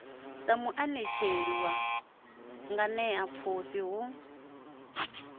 sa muanetsheli wa nganeapfhufhi hu